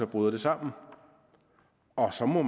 bryder sammen og så må